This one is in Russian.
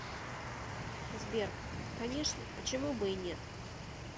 сбер конечно почему бы и нет